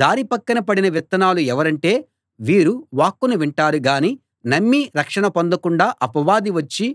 దారి పక్కన పడిన విత్తనాలు ఎవరంటే వీరు వాక్కును వింటారు గానీ నమ్మి రక్షణ పొందకుండా అపవాది వచ్చి